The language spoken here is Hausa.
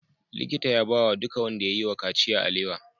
Likita ya bawa duka wanda yayi wa kaciya alewa